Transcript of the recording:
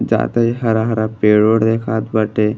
जादै हरा हरा पेड़ ओड़ देखात बाटे।